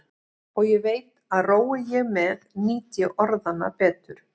Og ég veit að rói ég með nýt ég orðanna betur.